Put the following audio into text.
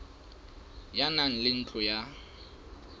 ya naha le ntlo ya